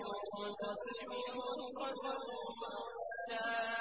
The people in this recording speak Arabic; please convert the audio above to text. وَسَبِّحُوهُ بُكْرَةً وَأَصِيلًا